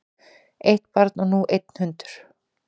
Eitt barn og nú einn hundur